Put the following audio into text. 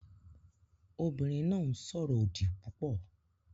Obìnrin náà ń sọ̀rọ̀ òdì púpọ̀